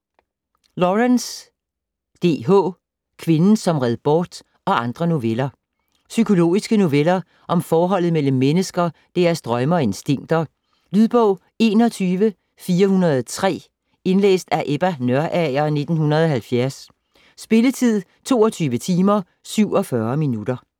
Lawrence, D. H.: Kvinden som red bort og andre noveller Psykologiske noveller om forholdet mellem mennesker, deres drømme og instinkter. Lydbog 21403 Indlæst af Ebba Nørager, 1970. Spilletid: 22 timer, 47 minutter.